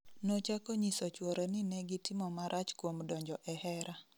Nochako nyiso chwore ni negitimo marach kuom donjo e hera